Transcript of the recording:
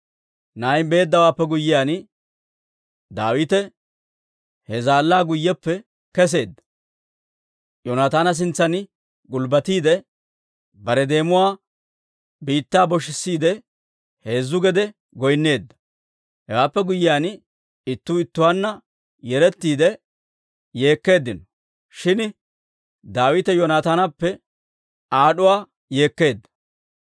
Na'ay beeddawaappe guyyiyaan, Daawite he zaallaa guyyeppe kesseedda; Yoonataana sintsan gulbbatiide, bare deemuwaa biittaa boshissiide heezzu gede goyneedda. Hewaappe guyyiyaan, ittuu ittuwaanna yerettiide yeekkeeddino; shin Daawite Yoonataanappe aad'uwaa yeekkeedda.